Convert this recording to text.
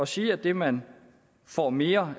sige at det man får mere